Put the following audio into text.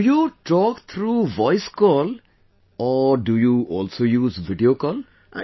Do you talk through Voice Call or do you also use Video Call